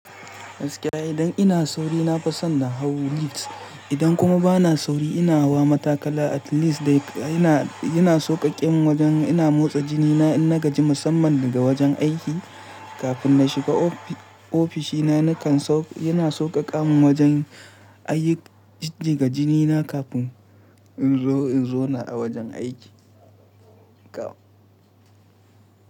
Gaskiya idan ina sauri nafi son na hau lift, idan kuma bana sauri ina hawa matakala at least dai yana sauƙaƙen wajen motsa jinina in na gaji musamman daga wajen aiki. Kafin na shiga ofishina, yana sauƙaƙa min wajen In jinjiga jinina kafin inje in zauna a wajen aiki.